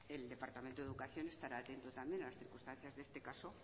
el departamento de educación estará atento también a las circunstancias de este caso